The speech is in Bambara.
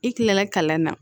I kilala kalan na